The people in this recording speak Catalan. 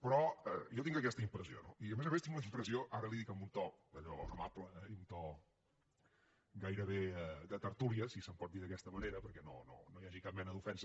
però jo tinc aquesta impressió no i a més a més tinc la impressió ara li ho dic en un to allò amable i en un to gairebé de tertúlia si se’n pot dir d’aquesta manera perquè no hi hagi cap mena d’ofensa